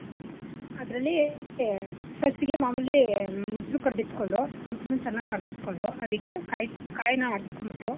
ಅದ್ರಲ್ಲಿ first ಗೆ ಮಾಮೂಲಿ ಮೊಸ್ರು ಕಡ್ದಿತ್ಕೊಂಡು ಮೊಸ್ರನ ಚೆನ್ನಾಗ್ ಕಡ್ದಿಟ್ಕೊಂಡು ಅದಿಕ್ಕೆ ಕಾಯಿ ಕಾಯ್ನ ಆಡ್ಸೋಂಬಿಟ್ಟು.